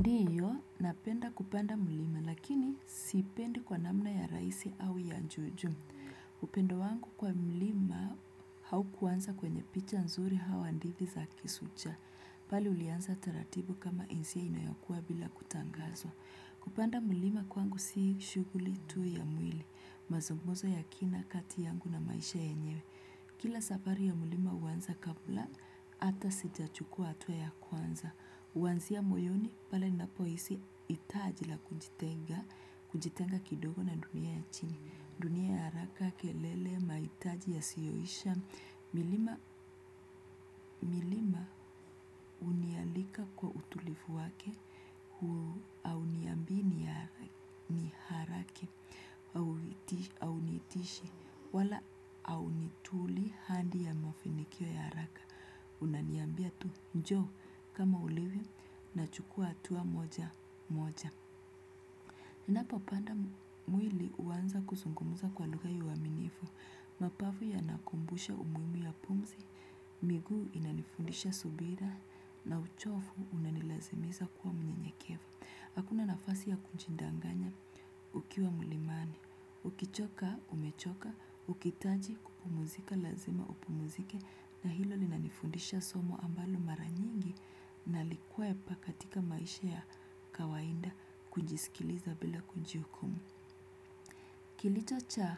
Ndiyo, napenda kupanda mlima, lakini sipendi kwa namna ya raisi au ya juujuu. Upendo wangu kwa mlima haukuanza kwenye picha nzuri au handithi za kisucha. Pale ulianza taratibu kama insia inayokua bila kutangazwa. Kupanda mlima kwangu si shughuli tu ya mwili, mazungumzo ya kina kati yangu na maisha yenyewe. Kila safari ya mlima huanza kabla, hata sijachukua hatua ya kwanza. Huansia moyoni pale napohisi hitaji la kujitenga kidogo na dunia ya chini. Dunia ya haraka, kelele, mahitaji yasiyoisha. Milima, milima, hunialika kwa utulifu wake, hauniambi ni haraki, haunitishi, wala haunituli handi ya mafinikio ya haraka. Unaniambia tu njoo kama ulivyo nachukua hatua moja moja ninapopanda mwili huanza kuzungumuza kwa lugha ya uaminifu. Mapafu yanakumbusha umuhimu ya pumzi. Miguu inanifundisha subira na uchofu unanilazimiza kuwa mnyenyekeva. Hakuna nafasi ya kuchindanganya ukiwa mulimani. Ukichoka umechoka ukitaji kupumuzika lazima upumuzike na hilo linanifundisha somo ambalo mar anyingi nalikwepa katika maisha ya kawainda kujisikiliza bila kunjiukumu. Kilitacha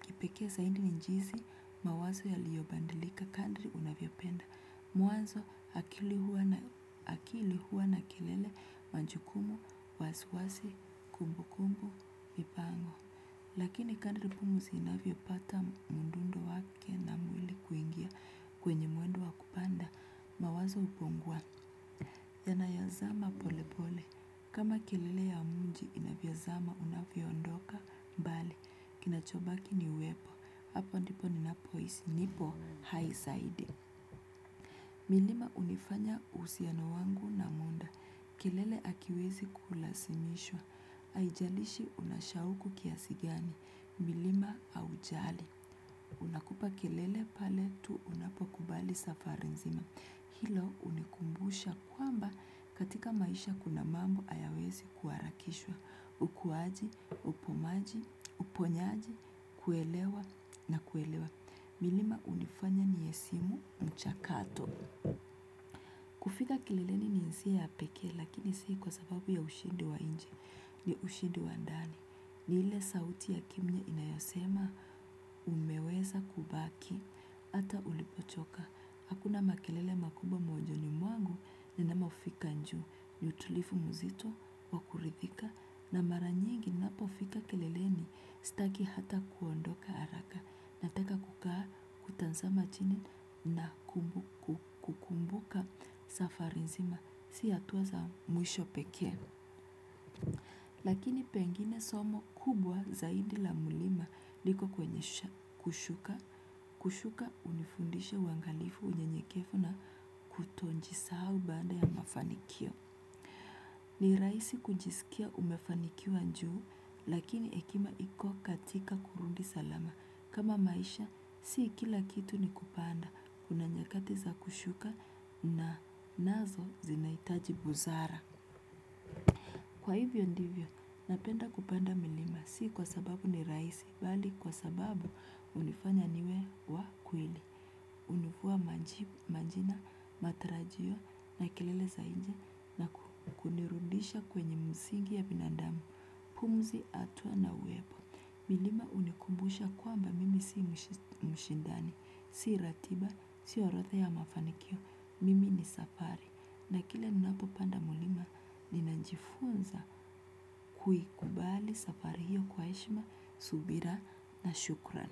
kipekee zaidi jinisi mawazo yaliyobadilika kandiri unavyopenda. Mwazo akili huwa na kelele majukumu, wasiwasi, kumbu kumbu, mipango. Lakini kandiri pumzi inavyopata mdundo wake na mwili kuingia kwenye mwendo wa kupanda. Mawazo hupungua, yanayazama pole pole, kama kelele ya mji inavyozama unavyoondoka mbali, kinachobaki ni wema, hapo ndipo ninapohisi, nipo haisaide. Milima hunifanya uhusiano wangu na muda, kelele hakiwezi kulasimishwa, aijalishi una shauku kiasi gani, milima haujali. Unakupa kelele pale tu unapokubali safari nzima. Hilo hunikumbusha kwamba katika maisha kuna mambo hayawezi kuharakishwa. Ukuaji, upomaji, uponyaji, kuelewa na kuelewa. Milima hunifanya nihesimu mchakato. Kufika kelele ni hisia ya pekee lakini sii kwa sababu ya ushidi wa nje ni ushidi wa ndani. Ni ile sauti ya kimya inayosema umeweza kubaki, ata ulipochoka. Hakuna makelele makubwa moyoni mwangu, ninamofika juu, ni utulifu mzito, wa kuridhika, na mara nyingi napofika keleleni staki hata kuondoka haraka. Nataka kukaa, kutazama chini, na kukumbuka safari nzima, si hatua za mwisho pekee. Lakini pengine somo kubwa zaidi la mulima liko kwenye kushuka, kushuka hunifundisha uangalifu unyenyekefu na kutojisahau baada ya mafanikio. Ni raisi kujisikia umefanikiwa njuu lakini hekima iko katika kurundi salama. Kama maisha si kila kitu ni kupanda kuna nyakati za kushuka na nazo zinahitaji busara. Kwa hivyo ndivyo, napenda kupanda milima, si kwa sababu ni raisi, bali kwa sababu hunifanya niwe wa kweli, unifua majina, matarajio na kelele za nje na kunirudisha kwenye msingi ya binadamu, pumzi, hatua na uwepo. Milima hunikumbusha kwamba mimi sii mshindani, sii ratiba, sii orodha ya mafanikio, mimi ni safari. Na kile ninapopanda mulima, ninajifunza kuikubali safari hiyo kwa heshima, subira na shukran.